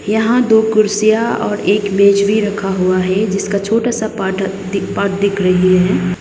यहां दो कुर्सियां और एक मेज भी रखा हुआ है जिसका छोटा सा पाट दी पार्ट दिख रही है।